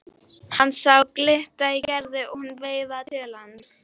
Hann sá glitta í Gerði og hún veifaði til hans.